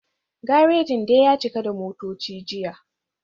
Garajin dai ya cika da motoci jiya